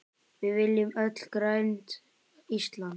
Við viljum öll grænt Ísland.